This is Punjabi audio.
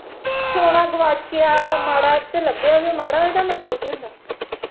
ਸੋਨਾ ਗੁਆਚਿਆ, ਮਾੜਾ ਤੇ ਲੱਭਿਆ ਵੀ ਮਾੜਾ ਇਹਦਾ ਮਤਲਬ ਕੀ ਹੁੰਦਾ